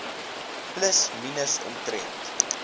plus minus omtrent